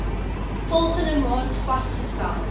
volgende maand vasgestel